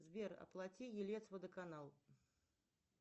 сбер оплати елец водоканал